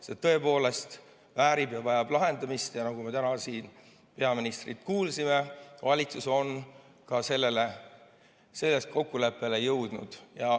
See tõepoolest väärib ja vajab lahendamist ning nagu me täna peaministrilt kuulsime, on valitsus selles kokkuleppele jõudnud.